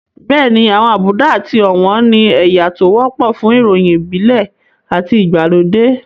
Bẹ́ẹ̀ni àwọn àbùdá àti ọ̀wọ̀n ni ẹ̀yà tó wọ́pọ̀ fún ìròyìn ìbílẹ̀ àti ìgbàlódé